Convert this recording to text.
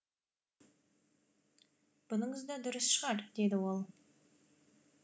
бұныңыз да дұрыс шығар деді ол